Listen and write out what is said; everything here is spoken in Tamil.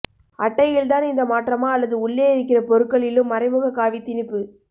அட்டையில் தான் இந்த மாற்றமா அல்லது உள்ளே இருக்கிற பொருட்களிலும் மறைமுக காவி திணிப்பு